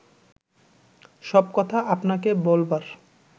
সব কথা আপনাকে বলবার